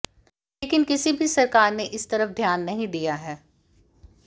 लेकिन किसी भी सरकार ने इस तरफ ध्यान नहीं दिया है